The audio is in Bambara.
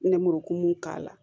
Nɛmurukumu k'a la